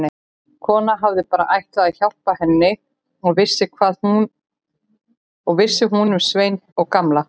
Konan hafði bara ætlað að hjálpa henni og hvað vissi hún um Svein og Gamla.